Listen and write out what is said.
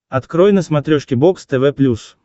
открой на смотрешке бокс тв плюс